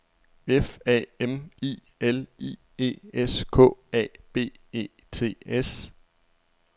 F A M I L I E S K A B E T S